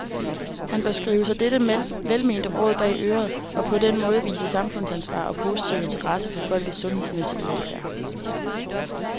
Han bør skrive sig dette velmente råd bag øret, og på den måde vise samfundsansvar og positiv interesse for folkets sundhedsmæssige velfærd.